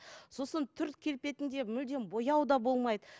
сосын түр келбетінде мүлдем бояу да болмайды